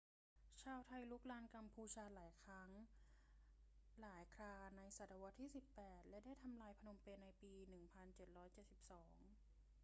ชาวไทยรุกรานกัมพูชาหลายครั้งหลายคราในศตวรรษที่ 18 และได้ทำลายพนมเปญในปี 1772